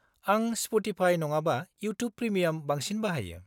आं स्प'टिफाइ नङाबा YouTube premium बांसिन बाहायो।